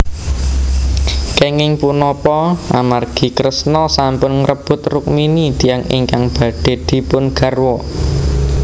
Kenging punapa amargi Kresna sampun ngrebut Rukmini tiyang ingkang badhe dipun garwa